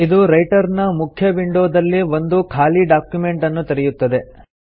ಇದು ರೈಟರ್ ನ ಮುಖ್ಯ ವಿಂಡೋ ದಲ್ಲಿ ಒಂದು ಖಾಲಿ ಡಾಕ್ಯುಮೆಂಟ್ ಅನ್ನು ತೆರೆಯುತ್ತದೆ